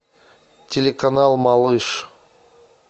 телеканал малыш